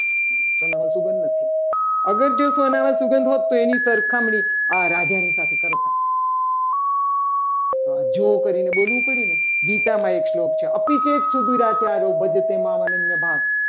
એની સરખામણી રાજાની સાથે કરતા. તો આ જો કરીને બોલવું પડ્યું. ને ગીતામાં એક શ્લોક છે. આપીરેક સુધી એ ભજતે માં ભક્બયતા.